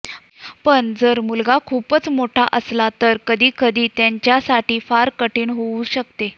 पण जर मुलगा खूपच मोठा असला तर कधीकधी त्यांच्या साठी फार कठीण होऊ शकते